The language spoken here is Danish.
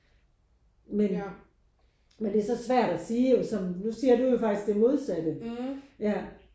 Men men det er så svært at sige jo som nu siger du jo faktisk det modsatte ja